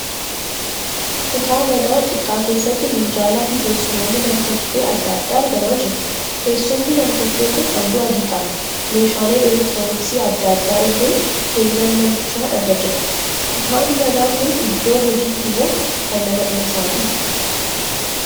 Kutaa manaa xiqqaa keessatti minjaalaa fi teessumoonni nam-tokkee adda addaa argamaa jiru. Teessumni nam-tokkee kun halluu adii qaba. Meeshaaleen 'electooniksii' adda addaa illee keenyan manichaa irra jiru. Kutaan manaa kun iddoo hojiiti moo kan nama dhuunfaati?